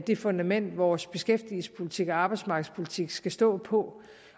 det fundament vores beskæftigelsespolitik og arbejdsmarkedspolitik skal stå på